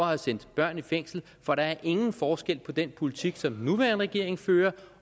have sendt børn i fængsel for der er ingen forskel på den politik som den nuværende regering fører